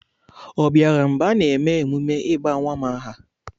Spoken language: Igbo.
Ọ bịara mgbe a na-eme emume ịba nwa m aha?